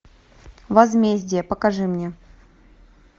возмездие покажи мне